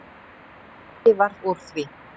Ekki varð úr því.